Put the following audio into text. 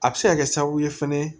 A bɛ se ka kɛ sababu ye fɛnɛ